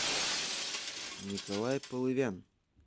николай полывян